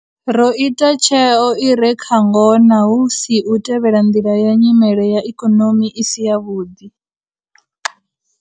Ro ita tsheo i re kha ngona hu si u tevhela nḓila ya nyimele ya ikonomi i si yavhuḓi.